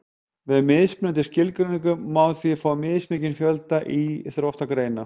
með mismunandi skilgreiningum má því fá mismikinn fjölda íþróttagreina